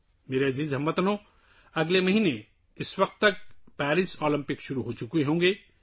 میرے پیارے ہم وطنو، اس وقت تک اگلے مہینے پیرس اولمپکس شروع ہو چکے ہوں گے